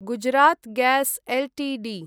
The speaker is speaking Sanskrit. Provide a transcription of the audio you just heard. Gujarat gas Ltd